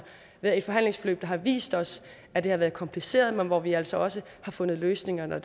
været et forhandlingsforløb der har vist os at det har været kompliceret men hvor vi altså også har fundet løsninger når